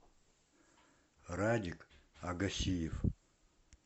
радик агасиев